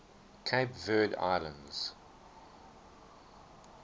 cape verde islands